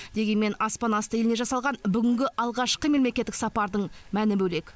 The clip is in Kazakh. дегенмен аспан асты еліне жасалған бүгінгі алғашқы мемлекеттік сапардың мәні бөлек